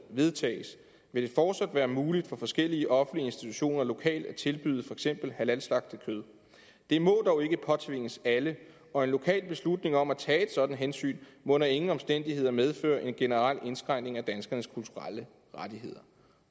vedtages vil det fortsat være muligt for forskellige offentlige institutioner lokalt at tilbyde for eksempel halalslagtet kød det må dog ikke påtvinges alle og en lokal beslutning om at tage et sådant hensyn må under ingen omstændigheder medføre en generel indskrænkning af danskernes kulturelle rettigheder